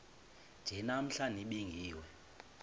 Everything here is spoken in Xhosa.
nje namhla nibingiwe